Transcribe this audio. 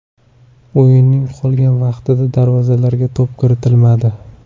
O‘yinning qolgan vaqtida darvozalarga to‘p kiritilmadi.